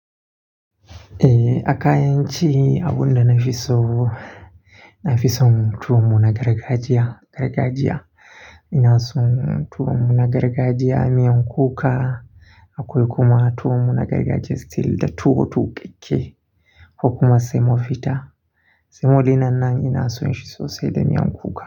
Eh aka yanci abunda na fi so. Na fi so mutum munagaragajiya, gargajiya. Ina so mutum munagaragajiya mai 'yan kuka. Akwai kuma tuwonmu nagaragajiya still da tuwo tuƙuke ko kuma semobita Saemo dinnan ina so in shi sosai da mai 'yan kuka.